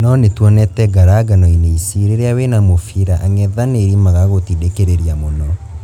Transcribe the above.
No nĩ twonete ngaranganoinĩ ici rĩ rĩ a wĩ na mũbira ang'ethanĩ ri magagutindĩ kĩ rĩ ria mũno.